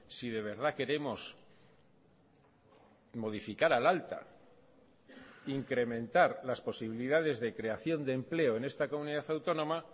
si de verdad queremos modificar al alta incrementar las posibilidades de creación de empleo en esta comunidad autónoma